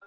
۞